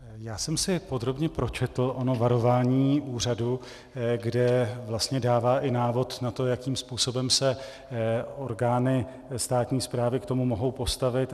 Já jsem si podrobně pročetl ono varování úřadu, kde vlastně dává i návod na to, jakým způsobem se orgány státní správy k tomu mohou postavit.